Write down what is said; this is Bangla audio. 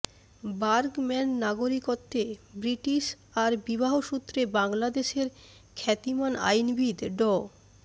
বার্গম্যান নাগরিকত্বে ব্রিটিশ আর বিবাহ সূত্রে বাংলাদেশের খ্যাতিমান আইনবিদ ড